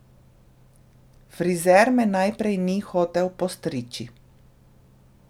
Frizer me najprej ni hotel postriči.